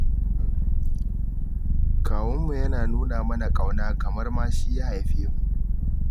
Kawunmu yana nuna mana ƙauna, kamar ma shi ya haife mu.